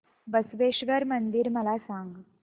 बसवेश्वर मंदिर मला सांग